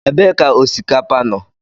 Ebee ka osikapa nọ?